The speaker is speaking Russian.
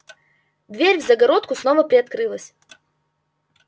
дверь в загородку снова приоткрылась